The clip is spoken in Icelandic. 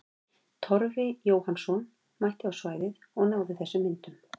Torfi Jóhannsson mætti á svæðið og náði þessum myndum.